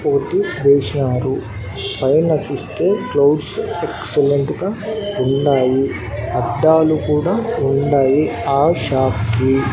పోటీ వేస్నారు పైన చూస్తే క్లౌడ్స్ ఎక్సలెంటు గా ఉన్నాయి అద్దాలు కూడా ఉన్నాయి ఆ షాప్ కి.